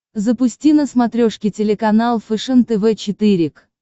запусти на смотрешке телеканал фэшен тв четыре к